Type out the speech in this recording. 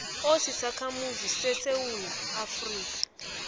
osisakhamuzi sesewula afrika